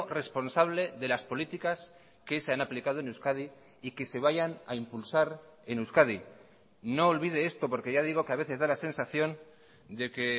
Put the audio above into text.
responsable de las políticas que se han aplicado en euskadi y que se vayan a impulsar en euskadi no olvide esto porque ya digo que a veces da la sensación de que